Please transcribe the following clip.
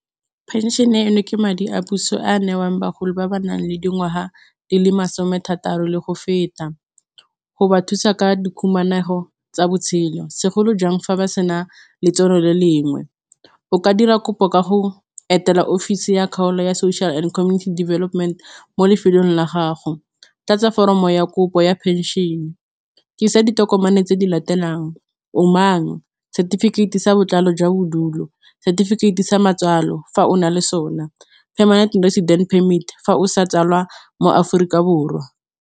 Pension-e eno ke madi a puso a newang bagolo ba ba nang le dingwaga di le masome a thataro le go feta, go ba thusa ka dikhumanego tsa botshelo, segolojang fa ba sena letseno le lengwe o ka dira kopo ka go etela office ya kgaolo ya social and community development mo lefelong la gago, tlatse foromo ya kopo ya penšion-e, isa ditokomane tse di latelang o mang setefikeiti sa botlalo jwa bodulo, setefikeiti sa matswalo, fa o na le sone permanent residents permit fa o sa tswalwa mo Aforika Borwa.